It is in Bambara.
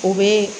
U bɛ